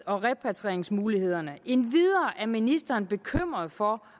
og repatrieringsmulighederne endvidere er ministeren bekymret for